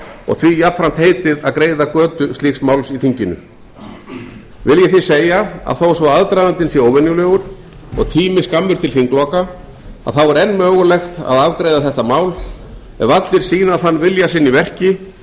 og því jafnframt heitið að greiða götu slíks máls í þinginu vil ég þó segja að þó svo aðdragandinn sé óvenjulegur og tími skammur til þingloka að þá er enn mögulegt að afgreiða þetta mál ef allir sýna þann vilja sinn í verki